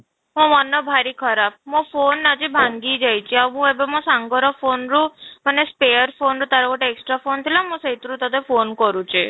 ମୋ ମନ ଭାରି ଖରାପ ମୋ phone ନା ଆଜି ଭାଙ୍ଗି ଯାଇଛି, ଆଉ ମୁଁ ଏବେ ମୋ ସାଙ୍ଗ ର phone ରୁ ମାନେ spare phone ରୁ ତାର ଗୋଟେ extra phone ଥିଲା ମୁଁ ସେଇଥିରୁ ତୋତେ phone କରୁଛି